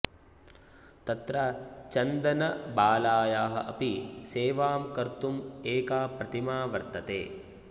तत्र चन्दनबालायाः अपि सेवां कर्तुम् एका प्रतिमा वर्तते